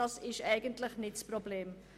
Das ist nicht das Problem.